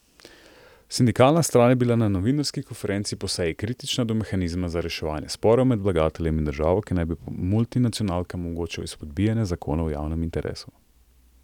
Sindikalna stran je bila na novinarski konferenci po seji kritična do mehanizma za reševanje sporov med vlagateljem in državo, ki naj bi multinacionalkam omogočal izpodbijanje zakonov v javnem interesu.